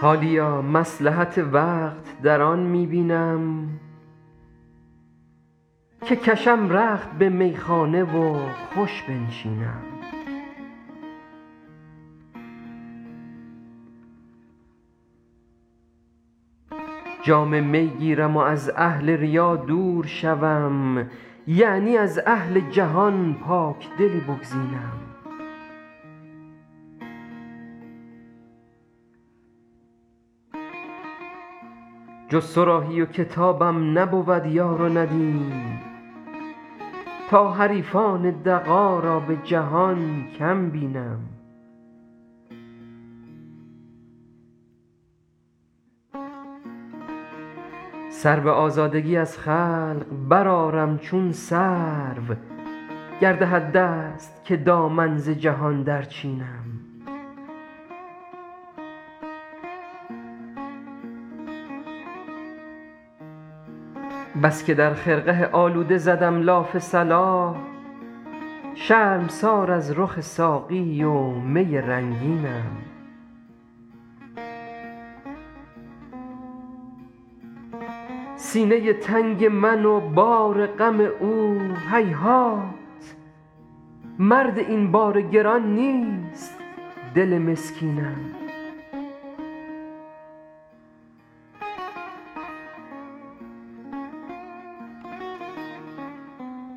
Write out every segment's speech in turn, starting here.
حالیا مصلحت وقت در آن می بینم که کشم رخت به میخانه و خوش بنشینم جام می گیرم و از اهل ریا دور شوم یعنی از اهل جهان پاکدلی بگزینم جز صراحی و کتابم نبود یار و ندیم تا حریفان دغا را به جهان کم بینم سر به آزادگی از خلق برآرم چون سرو گر دهد دست که دامن ز جهان درچینم بس که در خرقه آلوده زدم لاف صلاح شرمسار از رخ ساقی و می رنگینم سینه تنگ من و بار غم او هیهات مرد این بار گران نیست دل مسکینم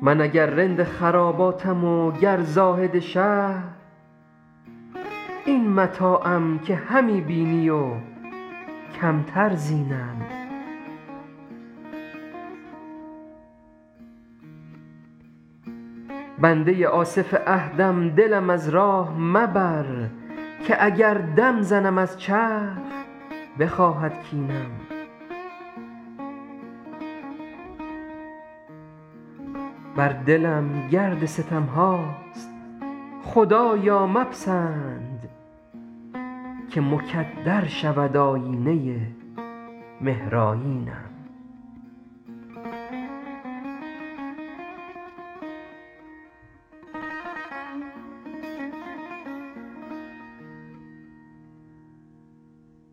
من اگر رند خراباتم و گر زاهد شهر این متاعم که همی بینی و کمتر زینم بنده آصف عهدم دلم از راه مبر که اگر دم زنم از چرخ بخواهد کینم بر دلم گرد ستم هاست خدایا مپسند که مکدر شود آیینه مهرآیینم